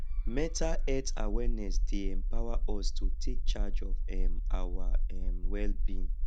mental health awareness dey empower us to take charge of um our um wellbeing